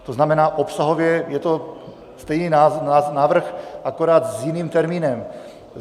To znamená, obsahově je to stejný návrh, akorát s jiným termínem.